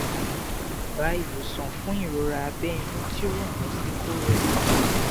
daba iwosan fun irora abe inu ti o ran lo si koro epon